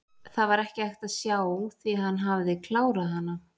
Það var ekki hægt að sjá því hann hafði klárað hana.